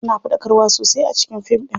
Suna faɗakarwa sosai a cikin fin ɗin.